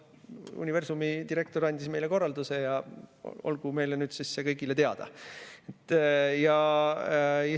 Universumi direktor andis meile korralduse ja olgu see nüüd meile kõigile teada.